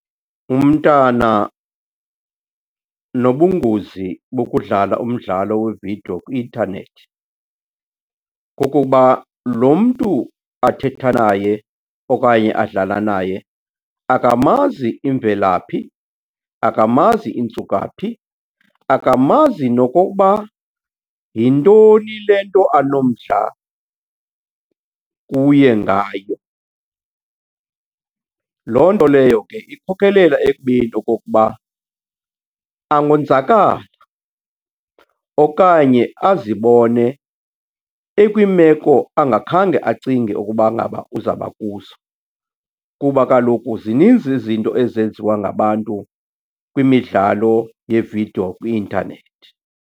Umntana nobungozi bokudlala umdlalo wevidiyo kwi-intanethi kukuba lo mntu athetha naye okanye adlala naye akamazi imvelaphi, akamazi intsukaphi, akamazi nokokuba yintoni le nto anomdla kuye ngayo. Loo nto leyo ke ikhokelela ekubeni into yokokuba angonzakala okanye azibone ekwiimeko angakhange acinge ukuba ngaba uzaba kuzo kuba kaloku zininzi izinto ezenziwa ngabantu kwimidlalo yevidiyo kwi-intanethi.